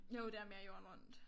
Jo det er mere jorden rundt